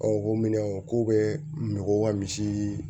Ɔ o ko minɛn ko bɛ n ko ka misi